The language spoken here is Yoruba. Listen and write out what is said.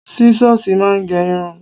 Sísọ́sìì máa ń gé irun